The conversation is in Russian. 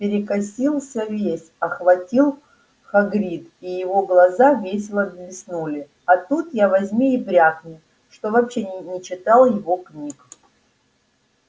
перекосился весь охватил хагрид и его глаза весело блеснули а тут я возьми и брякни что вообще не читал его книг